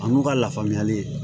An'u ka lafaamuyali